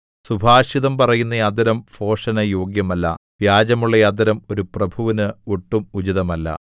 സുഭാഷിതം പറയുന്ന അധരം ഭോഷന് യോഗ്യമല്ല വ്യാജമുള്ള അധരം ഒരു പ്രഭുവിന് ഒട്ടും ഉചിതമല്ല